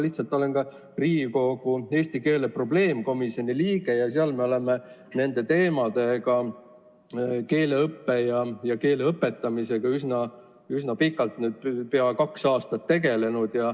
Ma olen Riigikogu eesti keele probleemkomisjoni liige ning seal me oleme keeleõppe ja keele õpetamise teemadega üsna pikalt, nüüd juba peaaegu kaks aastat tegelenud.